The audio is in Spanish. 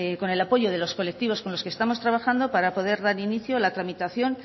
con el apoyo de los colectivos con los que estamos trabajando para poder dar inicio a la tramitación